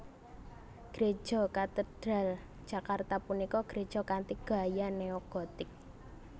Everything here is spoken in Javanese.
Gréja Katedral Jakarta punika gréja kanthi gaya neo gotik